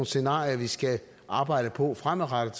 scenarier vi skal arbejde på fremadrettet